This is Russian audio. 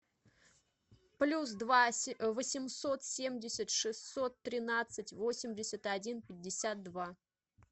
плюс два восемьсот семьдесят шестьсот тринадцать восемьдесят один пятьдесят два